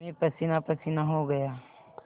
मैं पसीनापसीना हो गया